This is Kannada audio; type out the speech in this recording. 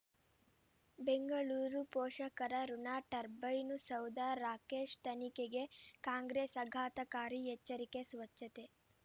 ಬೆಂಗಳೂರು ಪೋಷಕರಋಣ ಟರ್ಬೈನು ಸೌಧ ರಾಕೇಶ್ ತನಿಖೆಗೆ ಕಾಂಗ್ರೆಸ್ ಆಘಾತಕಾರಿ ಎಚ್ಚರಿಕೆ ಸ್ವಚ್ಛತೆ